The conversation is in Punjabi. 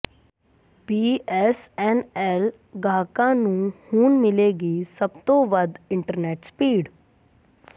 ਬੀਐੱਸਐੱਨਐੱਲ ਗਾਹਕਾਂ ਨੂੰ ਹੁਣ ਮਿਲੇਗੀ ਸਭ ਤੋਂ ਵਧ ਇੰਟਰਨੈੱਟ ਸਪੀਡ